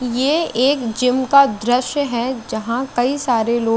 ये एक जिम का द्श्य है जहा कई सारे लोग--